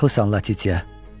Haqlısan Latitya,